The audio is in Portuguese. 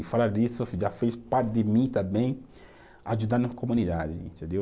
E falar disso já fez parte de mim também ajudar na comunidade, entendeu?